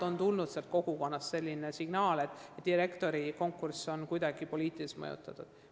Võib-olla on sealsest kogukonnast tulnud selline signaal, et direktorikonkurss on kuidagi poliitiliselt mõjutatud.